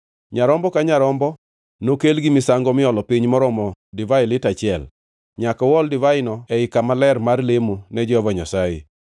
Nyarombo ka nyarombo nokel gi misango miolo piny maromo divai lita achiel. Nyaka uol divaino ei kama ler mar lemo ne Jehova Nyasaye.